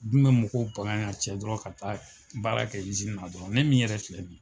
Dun bɛ mɔgɔw bagan ya cɛ dɔrɔn ka taa baara kɛ na dɔrɔn . Ne min yɛrɛ filɛ bi.